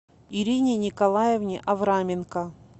ирине николаевне авраменко